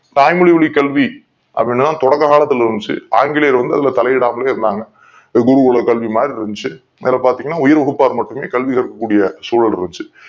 தாய் மொழி கல்வி அப்படித் தான் தொடக்க காலத்தில் இருந்துச்சு ஆங்கிலேயர் வந்து அதுல தலையிடாமல் இருந்தார்கள் குருகுல கல்வி மாதிரி இருந்துச்சு அந்த நேரத்துல பாத்தீங்கன்னா உயர் வகுப்பர் மட்டுமே கல்வி கற்க கூடிய சூழல் இருந்துச்சு